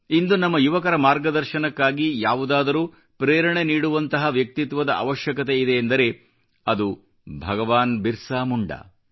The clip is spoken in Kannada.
ಇಂದು ನಮ್ಮ ಯುವಕರ ಮಾರ್ಗದರ್ಶನಕ್ಕಾಗಿ ಯಾವುದಾದರೂ ಪ್ರೇರಣೆ ನೀಡುವಂತಹ ವ್ಯಕ್ತಿತ್ವದ ಅವಶ್ಯಕತೆಯಿದೆ ಎಂದರೆ ಅದು ಭಗವಾನ್ ಬಿರ್ಸಾ ಮುಂಡಾ